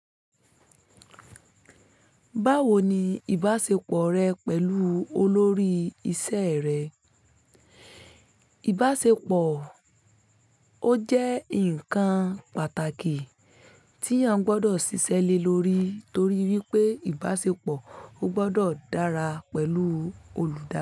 Báwo ni ìbáṣepọ̀ rẹ pẹ̀lú olórí iṣẹ́ rẹ? Ìbáṣepọ̀, ó jẹ́ nǹkan pàtàkì tí yan gbọdọ̀ ṣiṣẹ́ lé lórí torí wípé ìbáṣepọ̀ ò gbọdọ̀ dára pẹ̀lú olùdá.